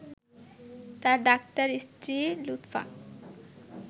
তাঁর ডাক্তার স্ত্রী লুৎফা